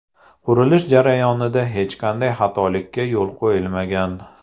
Qurilish jarayonida hech qanday xatolikka yo‘l qo‘yilmagan.